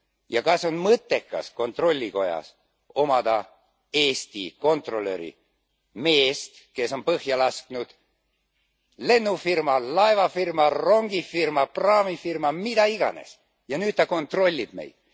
ja kas on mõttekas kontrollikojas omada Eesti kontrolöri, meest, kes on põhja lasknud lennufirma, laevafirma, rongifirma, praamifirma, mida iganes, ja nüüd ta kontrollib meid.